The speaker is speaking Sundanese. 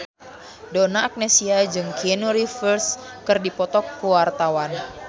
Donna Agnesia jeung Keanu Reeves keur dipoto ku wartawan